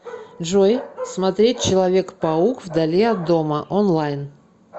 джой смотреть человек паук вдали от дома онлайн